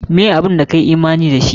Meh abun da ka yi imani da shi?